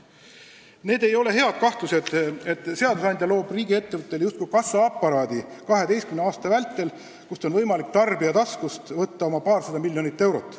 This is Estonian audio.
Need ei ole head kahtlused, et seadusandja loob riigiettevõttele justkui kassaaparaadi, kust 12 aasta vältel on võimalik tarbija tasku arvel võtta oma paarsada miljonit eurot.